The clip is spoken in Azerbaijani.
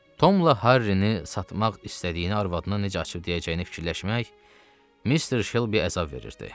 Tomla Harrini satmaq istədiyini arvadına necə açıb deyəcəyini fikirləşmək Mister Shelbyə əzab verirdi.